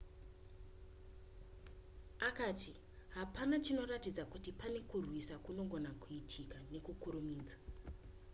akati hapana chinoratidza kuti pane kurwisa kunogona kuitika nekukurumidza